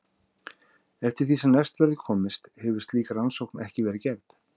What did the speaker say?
Eftir því sem næst verður komist hefur slík rannsókn ekki verið gerð.